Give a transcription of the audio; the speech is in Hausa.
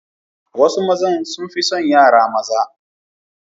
Wasu mazan sun fi son yara maza.